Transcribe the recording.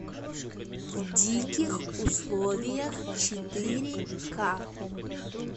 в диких условиях четыре ка